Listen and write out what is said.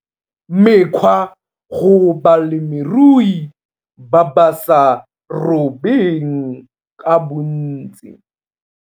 Mekgwa go balemirui ba ba sa robeng ka bontsi